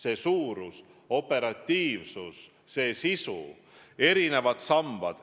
Selle kasutamise operatiivsus, selle sisu, erinevad sambad ...